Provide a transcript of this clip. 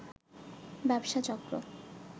ব্যবসা চক্র